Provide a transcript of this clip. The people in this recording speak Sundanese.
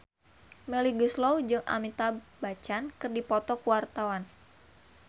Melly Goeslaw jeung Amitabh Bachchan keur dipoto ku wartawan